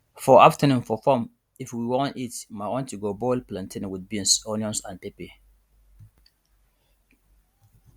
for afternoon for farm if we won eat my aunty go boil plantain with beans onions and pepper